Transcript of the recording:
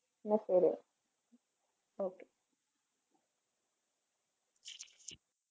ഞാൻ പോണു okay.